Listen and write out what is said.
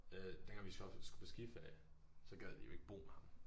Øh den gang vi så skulle på skiferie så gad de jo ikke bo med ham